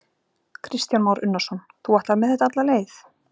Kristján Már Unnarsson: Þú ætlar með þetta alla leið?